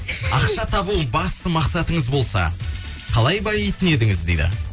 ақша табу басты мақсатыңыз болса қалай баитын едіңіз дейді